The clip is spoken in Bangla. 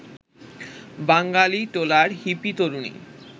বাঙালিটোলার হিপি তরুণী